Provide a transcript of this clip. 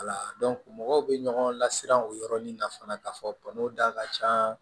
Wala mɔgɔw bɛ ɲɔgɔn lasiran o yɔrɔnin na fana ka fɔ da ka ca